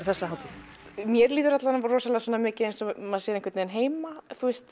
þessa hátíð mér líður rosalega mikið eins og maður sé einhvern veginn heima